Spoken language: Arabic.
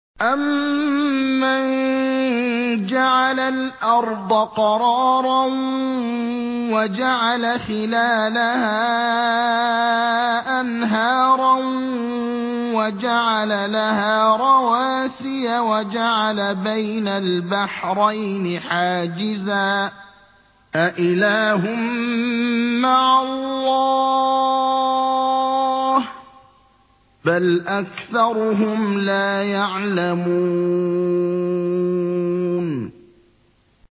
أَمَّن جَعَلَ الْأَرْضَ قَرَارًا وَجَعَلَ خِلَالَهَا أَنْهَارًا وَجَعَلَ لَهَا رَوَاسِيَ وَجَعَلَ بَيْنَ الْبَحْرَيْنِ حَاجِزًا ۗ أَإِلَٰهٌ مَّعَ اللَّهِ ۚ بَلْ أَكْثَرُهُمْ لَا يَعْلَمُونَ